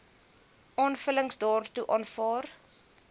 aanvullings daartoe aanvaar